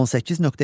18.2.